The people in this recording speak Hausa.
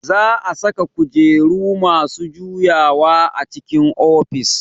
Za a saka kujeru masu juyawa a cikin ofis